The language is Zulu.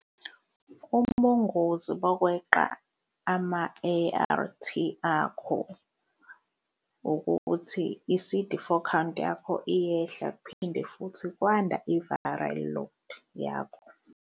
Ubungozi bokweqa ama-A_R_T akho ukuthi i-C_D four count yakho iyehla, kuphinde futhi kwanda i-viral load yakho.